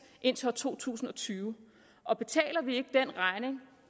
indtil år to tusind og tyve og betaler vi ikke den regning